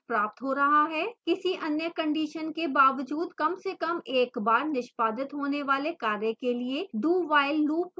किसी any condition के बावजूद कमसेकम एक बार निष्पादित होने वाले कार्य के लिए dowhile loop का उपयोग करें